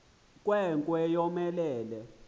nkwe nkwe yomelele